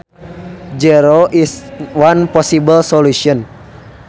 Zero is one possible solution